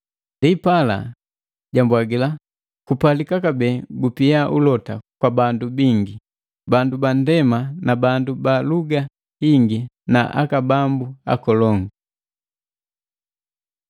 Ndipala, jambwagila, “Kupalika kabee gupia ulota gwa bandu bingi, bandu bandema na bandu ba luga hingi na aka bambu nkolongu!”